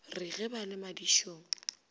re ge ba le madišong